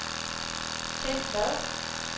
Ken Vad